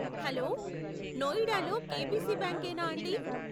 Hello, నోయిడాలో KBC bank యేనా అండి?